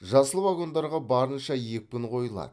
жасыл вагондарға барынша екпін қойылады